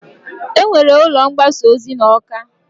E nwere ụlọ mgbasa ozi n'Awka.